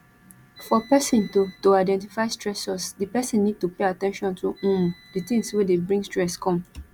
for person to to identify stressors di person need to pay at ten tion to um di things wey dey bring stress come